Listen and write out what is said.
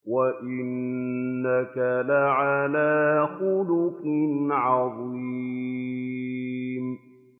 وَإِنَّكَ لَعَلَىٰ خُلُقٍ عَظِيمٍ